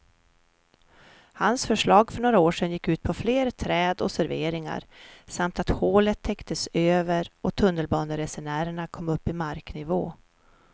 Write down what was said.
Hans förslag för några år sedan gick ut på fler träd och serveringar samt att hålet täcktes över och tunnelbaneresenärerna kom upp i marknivå.